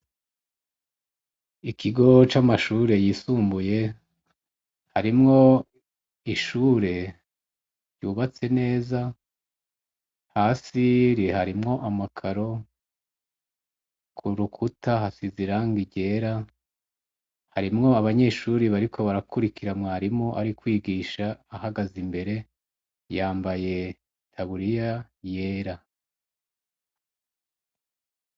Ikigo c'amashure yisumbuye harimwo ishure ryubatse neza hasiri harimwo amakaro ku rukuta hasi ziranga iryera harimwo abanyeshuri bariko barakurikiramwaa rimu ari kwigisha ahagaze imbere yambaye taguriya yera.